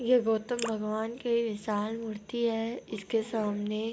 ये गौतम भगवान की विशाल मूर्ति है इसके सामने